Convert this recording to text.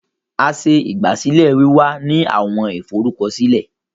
A ṣe igbasilẹ wiwa ni awọn iforukọsilẹ